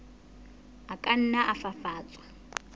a ka nna a fafatswa